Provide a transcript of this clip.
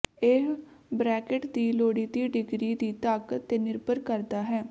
ਇਹ ਬਰੈਕਟ ਦੀ ਲੋੜੀਂਦੀ ਡਿਗਰੀ ਦੀ ਤਾਕਤ ਤੇ ਨਿਰਭਰ ਕਰਦਾ ਹੈ